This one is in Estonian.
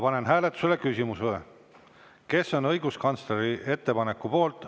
Panen hääletusele küsimuse, kes on õiguskantsleri ettepaneku poolt.